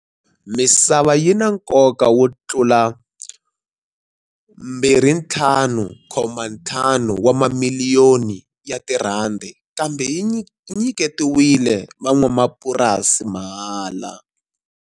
Misava yi na nkoka wo tlula R25.5 wa mamili yoni kambe yi nyiketiwile van'wamapurasi mahala.